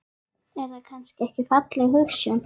Er það kannski ekki falleg hugsjón?